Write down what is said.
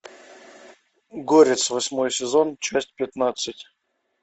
горец восьмой сезон часть пятнадцать